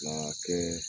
A kɛ